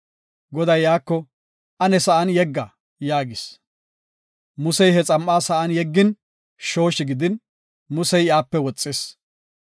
Goday iyako, “Ane sa7an yegga” yaagis. Musey he xam7aa sa7an yeggin, shooshi gidin, Musey iyape woxis.